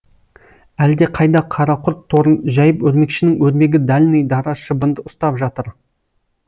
әлде қайда қара құрт торын жайып өрмекшінің өрмегі дальный дара шыбынды ұстап жатыр